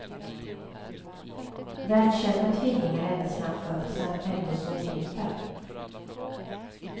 Världskända tvillingar ända sedan födelsen och ändå så olika.